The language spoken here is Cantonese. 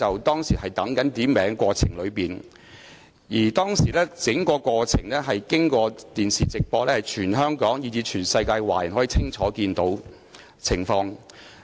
當時，在傳召鐘響起期間的整個過程由電視直播，全香港以至全世界華人均可清楚看見有關情況。